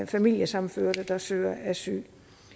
familiesammenførte der søger asyl